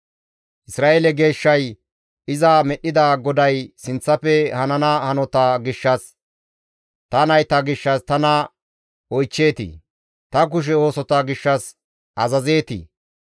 «Isra7eele Geeshshay, iza medhdhida GODAY sinththafe hanana hanota gishshas, ‹Ta nayta gishshas tana oychcheetii? Ta kushe oosota gishshas azazeetii?